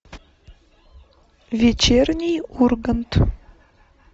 вечерний ургант